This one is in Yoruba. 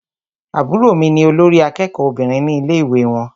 Àbúrò mí ní olórí àkẹ́kọ̀ọ Obìnrin ní ilé ìwé wọn.